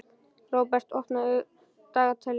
Róbert, opnaðu dagatalið mitt.